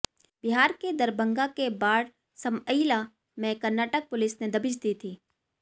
बिहार के दरभंगा के बाढ समइला में कर्नाटक पुलिस ने दबिश दी थी